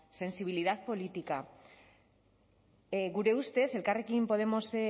sensibilidad política gure ustez elkarrekin podemos